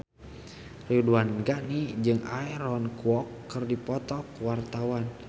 Ridwan Ghani jeung Aaron Kwok keur dipoto ku wartawan